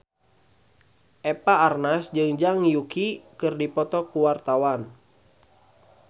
Eva Arnaz jeung Zhang Yuqi keur dipoto ku wartawan